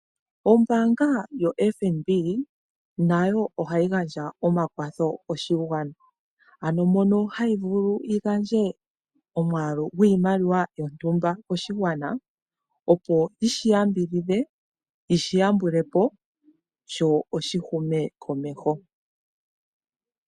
Ombaanga yo FNB nayo ohayi gandja omakwatho koshigwana ,ano mono hayivulu yigandje omwaalu gwiimaliwa yontumba koshigwana opo yishi yambidhidhe yishiyambule po ,sho oshihume komeho.